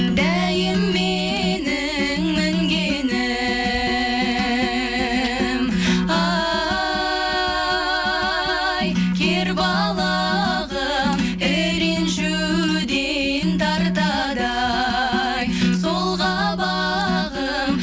дәйім менің мінгенім ай кер балағым і ренжуден тартады ай сол қабағым